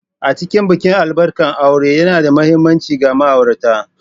A cikin bikin albarkan aure yana da mahimmanci ga ma'aurata.